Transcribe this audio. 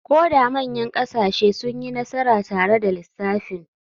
Ko da manyan ƙasashe sun yi nasara tare da lissafin.